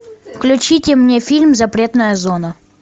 включите мне фильм запретная зона